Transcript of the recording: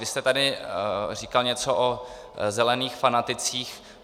Vy jste tady říkal něco o zelených fanaticích.